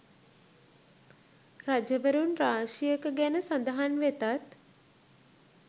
රජවරුන් රාශියක ගැන සඳහන් වෙතත්